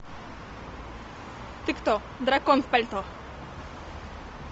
ты кто дракон в пальто